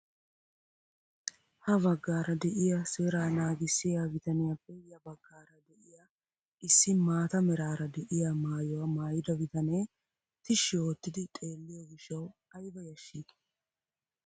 Ha baggaara de'iyaa seeraa naagissiyaa bitaniyaappe ya baggaara de'iyaa issi maata meraara de'iyaa maayuwaa maayida bitanee tishshi oottidi xeelliyoo giishshawu ayba yashshii!